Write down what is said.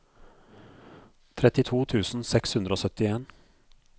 trettito tusen seks hundre og syttien